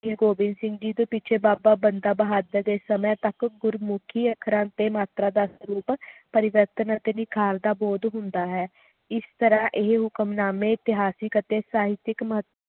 ਗੁਰੂ ਆਬਿੰਦ ਸਿੰਘ ਜੀ ਦੇ ਪਿੱਛੇ ਬਾਬਾ ਬੰਦਾ ਬਹਾਦਰ ਦੇ ਸਮੇ ਤਕ ਗੁਰਮੁਖੀ ਅੱਖਰਾਂ ਤੇ ਅੱਖਰਾਂ ਦਾ ਸਰੂਪ ਪਰਿਵਾਰਤਾ ਅਤੇ ਨਿਖਾਰ ਦਾ ਬਹੁਤ ਹੁੰਦਾ ਹੈ ਇਸ ਤਰ੍ਹਾਂ ਇਹ ਹੁਕਮਨਾਮੇ ਇਤਿਹਾਸਿਕ ਅਤੇ ਸਾਹਿਤਿਕ